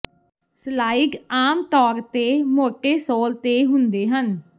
slide ਆਮ ਤੌਰ ਤੇ ਮੋਟੇ ਸੋਲ ਤੇ ਹੁੰਦੇ ਹਨ